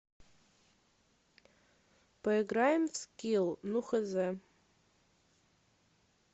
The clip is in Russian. поиграем в скилл ну хз